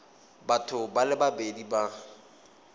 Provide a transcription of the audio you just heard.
batho ba le babedi ba